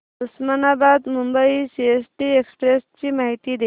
Osmanabad Mumbai CST express ची माहिती दे